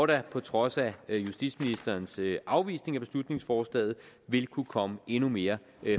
der på trods af justitsministerens afvisning af beslutningsforslaget vil kunne komme endnu mere